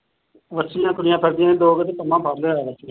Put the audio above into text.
ਬੱਛੀਆਂ ਤੁਰੀਆਂ ਫਿਰਦੀਆਂ ਸੀ ਦੋ ਕੁ ਤੇ ਪੰਮਾ ਫੱੜ ਲਿਆਇਆ ਵਿੱਚ।